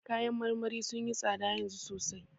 Kayan marmarin sun yi tsada yanzu sosai.